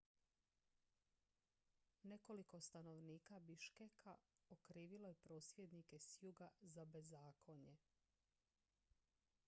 nekoliko stanovnika biškeka okrivilo je prosvjednike s juga za bezakonje